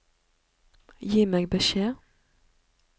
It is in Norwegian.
Gi meg beskjed